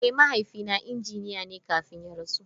Eh, mahaifina injiniya ne kafin ya rasu.